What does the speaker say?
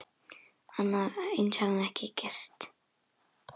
Annað eins hefur gerst.